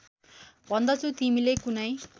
भन्दछु तिमीले कुनै